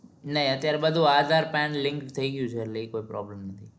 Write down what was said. નઈ અત્યારે બધું aadhar card link થયી ગયું છે એટલે એ problem નઈ